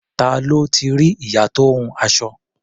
Ta ló ti rí ìyá tó ń hun aṣọ?